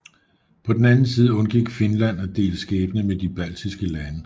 På den anden side undgik Finland at dele skæbne med de baltiske lande